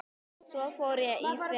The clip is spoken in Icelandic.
Svo fór ég í fyrra.